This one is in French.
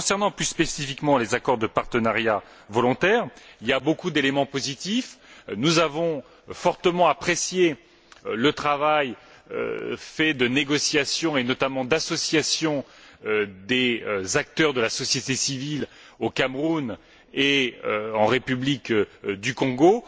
Concernant plus spécifiquement les accords de partenariat volontaire, il y a beaucoup d'éléments positifs nous avons fortement apprécié le travail de négociation et, notamment, d'association des acteurs de la société civile au Cameroun et en République du Congo